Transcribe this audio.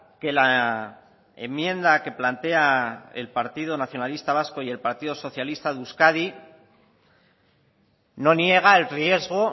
que la enmienda que plantea el partido nacionalista vasco y el partido socialista de euskadi no niega el riesgo